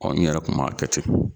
Ɔ ni yɛrɛ kun m'a kɛ ten